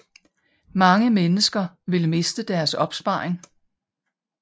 Mange mennesker vil miste deres opsparing